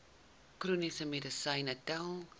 chroniese medisyne tel